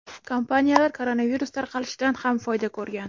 Kompaniyalar koronavirus tarqalishidan ham foyda ko‘rgan.